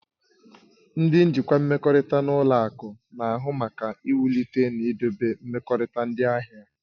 Ndị njikwa mmekọrịta na ụlọ akụ na-ahụ maka iwulite na idobe mmekọrịta ndị ahịa.